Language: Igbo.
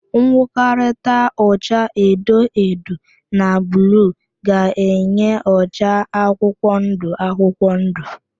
Ngwọkọrịta ụcha edo edo na bluu ga-enye ụcha akwụkwọndụ akwụkwọndụ.